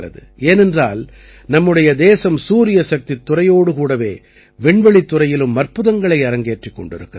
ஏனென்றால் நம்முடைய தேசம் சூரியசக்தித் துறையோடு கூடவே விண்வெளித்துறையிலும் அற்புதங்களை அரங்கேற்றிக் கொண்டிருக்கிறது